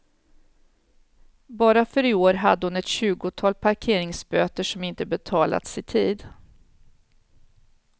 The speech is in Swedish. Bara för i år hade hon ett tjugotal parkeringsböter som inte betalats i tid.